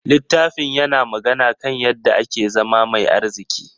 Littafin yana magana kan yadda ake zama mai arziki.